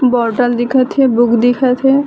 bottle दिखे थे book दिखे थे --